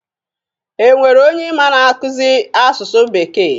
E nwere onye ị ma na-akuzi asụsụ bekee?